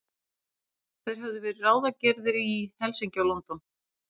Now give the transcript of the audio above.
Þeir höfðu verið ráðgerðir í Helsinki og London.